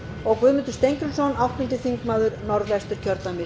og guðmundur steingrímsson áttundi þingmaður norðvesturkjördæmis